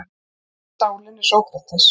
Sálin er Sókrates!